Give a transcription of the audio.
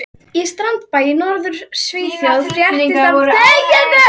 Í strandbæ í Norður-Svíþjóð fréttist af afbrotamönnum á flótta.